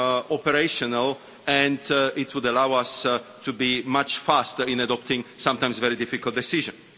operational, and it would allow us to be much faster in adopting sometimes very difficult decisions.